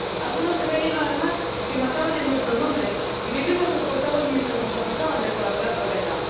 Algunos creyeron, además, que mataban en nuestro nombre, y vivimos escoltados mientras nos acusaban de colaborar con ETA.